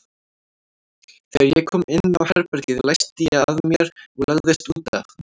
Þegar ég kom inn á herbergið læsti ég að mér og lagðist út af.